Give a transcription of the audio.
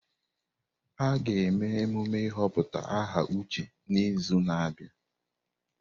A ga-eme emume ịhọpụta aha Uche n'izu na-abịa.